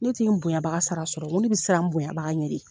Ne ti n bonyanbaga sara sɔrɔ n ko ne bɛ siran n bonyanbaga ɲɛ de.